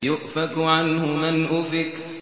يُؤْفَكُ عَنْهُ مَنْ أُفِكَ